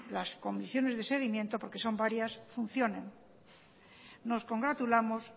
las condiciones de seguimiento porque son varias funcionen nos congratulamos